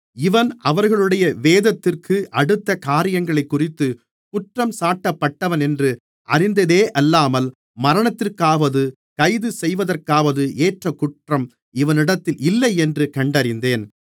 இவன் அவர்களுடைய வேதத்திற்கு அடுத்த காரியங்களைக்குறித்துக் குற்றஞ்சாட்டப்பட்டவனென்று அறிந்ததேயல்லாமல் மரணத்திற்காவது கைதுசெய்வதற்காவது ஏற்ற குற்றம் இவனிடத்தில் இல்லையென்று கண்டறிந்தேன்